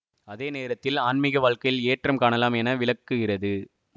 அதே நேரத்தில் ஆன்மீக வாழ்க்கையில் ஏற்றம் காணலாம் என விளக்குகிறது